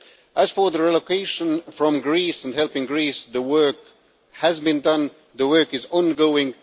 As for relocation from Greece and helping Greece, work has been done and the work is ongoing.